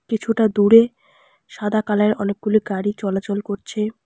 কিছুটা দূরে সাদা কালারে অনেকগুলি গাড়ি চলাচল করছে।